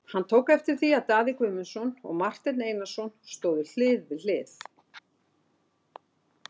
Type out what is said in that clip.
Hann tók eftir því að Daði Guðmundsson og Marteinn Einarsson stóðu hlið við hlið.